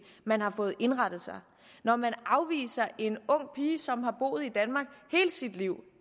man har fået indrettet når man afviser en ung pige som har boet i danmark hele sit liv